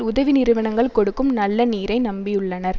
உதவி நிறுவனங்கள் கொடுக்கும் நல்ல நீரை நம்பியுள்ளனர்